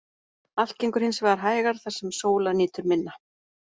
Allt gengur hins vegar hægar þar sem sólar nýtur minna.